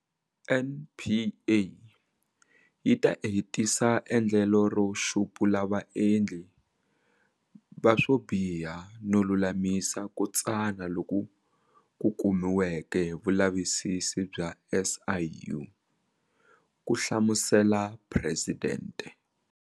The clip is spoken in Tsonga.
NPA yi ta hetisa endlelo ro xupula vaendli va swobiha no lulamisa ku tsana loku kumiweke hi vulavisisi bya SIU, ku hlamusela Presidente.